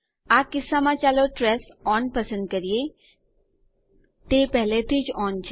આ કિસ્સામાં ચાલો ટ્રેસ ઓન પસંદ કરીએ તે પેહલા થી જ ઓન છે